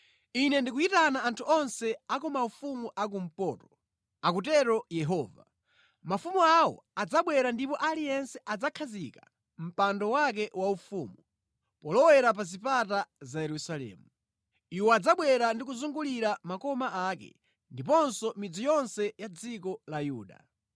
Ine ndikuyitana anthu onse a ku maufumu a kumpoto,” akutero Yehova. “Mafumu awo adzabwera ndipo aliyense adzakhazika mpando wake waufumu polowera pa zipata za Yerusalemu; iwo adzabwera ndi kuzungulira makoma ake ndiponso midzi yonse ya dziko la Yuda.